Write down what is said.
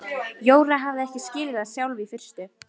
Jóra hafði ekki skilið það sjálf í fyrstu.